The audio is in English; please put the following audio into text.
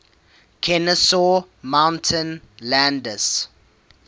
kenesaw mountain landis